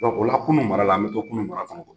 Donku o la kununu mara la , a bɛ to kunun mara kɔnɲ.